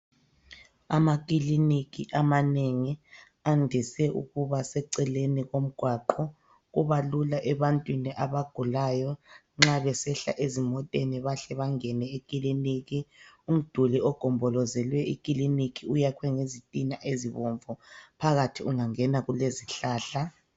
Amakiliniki amanengi andise ukuba eceleni komgwaqo. Kubalula ebantwini abagulayo, nxa beyehla emoteni bahle bangene ekiliniki. Umduli ogombolozele ikiliki uyakwe ngezithina ezibomvu. Phakathi ungangena kule zihlahla.